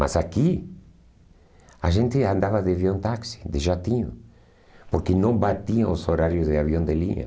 Mas aqui, a gente andava de avião táxi, de jatinho, porque não batiam os horários de avião de linha.